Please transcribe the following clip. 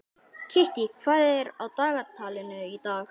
Kittý, hvað er á dagatalinu í dag?